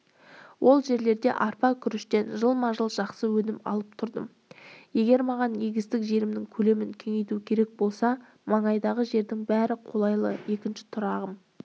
ол жерлерде арпа күріштен жылма-жыл жақсы өнім алып тұрдым егер маған егістік жерімнің көлемін кеңейту керек болса маңайдағы жердің бәрі қолайлы екінші тұрағым